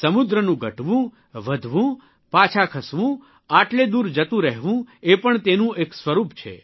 સમુદ્રનું ઘટવું વધવું પાછા ખસવું આટલે દૂર જતું રહેવું એ પણ તેનું એક સ્વરૂપ છે